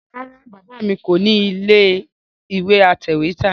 Rárá Bàbá mi kò nílé atẹ̀wẹ́tà